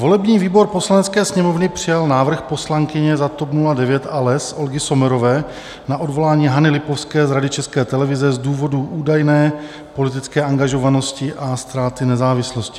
Volební výbor Poslanecké sněmovny přijal návrh poslankyně za TOP 09 a LES Olgy Sommerové na odvolání Hany Lipovské z Rady České televize z důvodů údajné politické angažovanosti a ztráty nezávislosti.